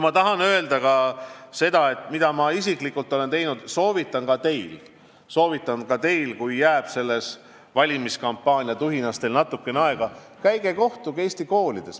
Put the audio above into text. Tahan öelda ka seda, mida ma isiklikult olen teinud ja soovitan teha ka teil, kui jääb valimiskampaania tuhinas natukene aega: minge kohtuge õpilastega Eesti koolides.